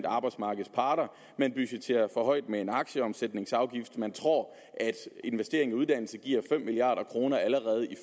arbejdsmarkedets parter man budgetterer for højt med en aktieomsætningsafgift man tror at investering i uddannelse giver fem milliard kroner allerede i